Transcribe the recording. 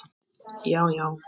Já, já.